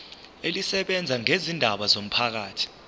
elisebenza ngezindaba zomphakathi